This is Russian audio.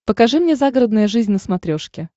покажи мне загородная жизнь на смотрешке